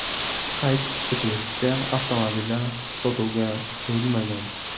Qayd etilishicha, avtomobillar sotuvga qo‘yilmagan.